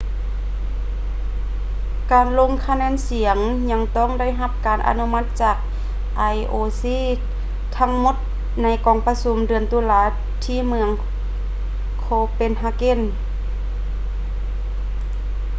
ການລົງຄະແນນສຽງຍັງຕ້ອງໄດ້ຮັບການອະນຸມັດຈາກ ioc ທັງໝົດໃນກອງປະຊຸມເດືອນຕຸລາທີ່ເມືອງ copenhagen